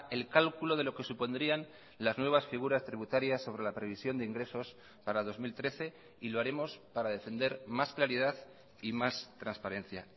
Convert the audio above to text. el cálculo de lo que supondrían las nuevas figuras tributarias sobre la previsión de ingresos para dos mil trece y lo haremos para defender más claridad y más transparencia